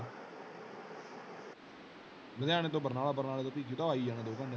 ਲੁਧਿਆਣੇ ਤੋਂ ਬਰਨਾਲਾ ਬਰਨਾਲੇ ਰੋਂ ਪੀਚੀਤਾਂ ਆ ਹੀ ਜਾਣਾ ਦੋ ਘੰਟਿਆਂ ਚ।